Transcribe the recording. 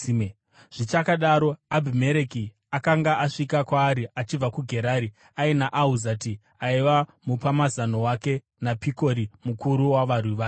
Zvichakadaro, Abhimereki akanga asvika kwaari achibva kuGerari, aina Ahuzati aiva mupamazano wake naPikori mukuru wavarwi vake.